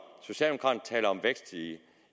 vækst i